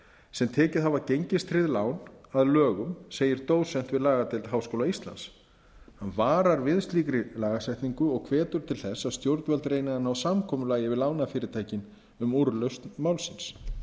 sem tekið hafa gengistryggð lán að lögum segir dósent við lagadeild háskóla íslands hann varar við slíkri lagasetningu og hvetur til þess að stjórnvöld reyni að ná samkomulagi við lánafyrirtækin um úrlausn málsins